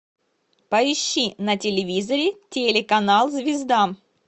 поищи на телевизоре телеканал звезда